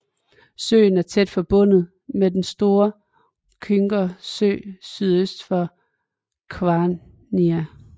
Søen er tæt forbundet med den store Kyoga Sø sydøst for Kwania